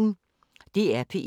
DR P1